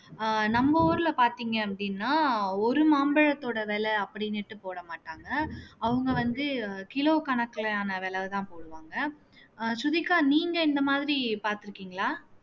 அஹ் நம்ம ஊர்ல பார்த்தீங்க அப்படின்னா ஒரு மாம்பழத்தோட விலை அப்படின்னுட்டு போட மாட்டாங்க அவங்க வந்து கிலோ கணக்குலான விலைதான் போடுவாங்க அஹ் ஸ்ருதிகா நீங்க இந்த மாதிரி பார்த்திருக்கீங்களா